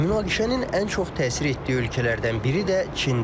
Münaqişənin ən çox təsir etdiyi ölkələrdən biri də Çindir.